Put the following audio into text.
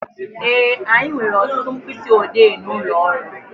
Ee, anyị nwere ọtụtụ mkpịsị odee n'ụlọ ọrụ